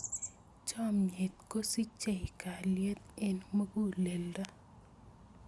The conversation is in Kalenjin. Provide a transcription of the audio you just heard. Chomnyet kosichei kalyet eng muguleldo.